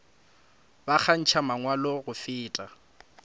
ba kgantšha mangwalo go feta